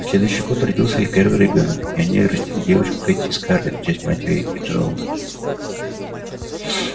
на следующий год родился их первый ребёнок и они растили девочку кэти-скарлетт в честь матери джералда